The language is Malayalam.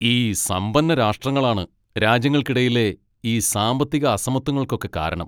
ഈ സമ്പന്ന രാഷ്ട്രങ്ങളാണ് രാജ്യങ്ങൾക്കിടയിലെ ഈ സാമ്പത്തിക അസമത്വങ്ങൾക്കൊക്കെ കാരണം.